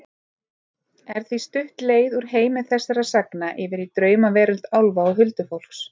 Er því stutt leið úr heimi þessara sagna yfir í draumaveröld álfa og huldufólks.